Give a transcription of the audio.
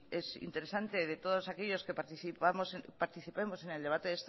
es interesante de todos aquellos que participemos en el debate